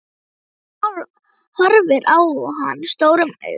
Hún horfir á hann stórum augum.